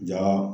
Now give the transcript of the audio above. Ja